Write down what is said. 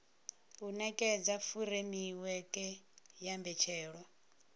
u nekedza furemiweke ya mbetshelwa